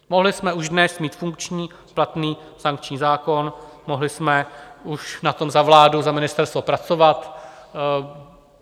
Mohli jsme už dnes mít funkční platný sankční zákon, mohli jsme už na tom za vládu, za ministerstvo pracovat.